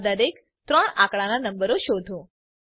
આવા દરેક 3 આંકડાના નંબરો શોધો